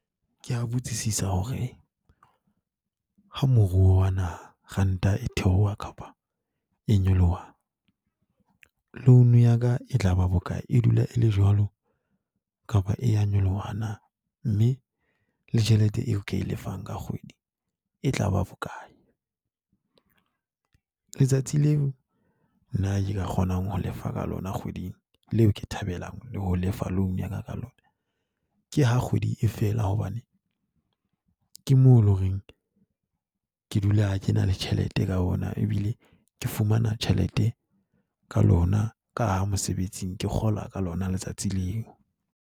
Ke a botsisa hore ha moruo wa nahana, ranta e theoha kapa e nyoloha, loan ya ka e tla ba bokae? E dula e le jwalo kapa e a nyoloha na? Mme le tjhelete eo ke lefang ka kgwedi e tla ba bokae. Letsatsi leo nna nka kgonang ho lefa ka lona kgweding leo ke thabelang ho lefa loan ya ka lona, ke ha kgwedi e fela hobane ke mo loreng ke dula ke na le tjhelete ka yona, ebile ke fumana tjhelete ka lona ka ha mosebetsing ke kgola ka lona letsatsi leo.